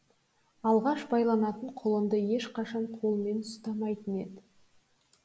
алғаш байланатын құлынды ешқашан қолмен ұстамайтын еді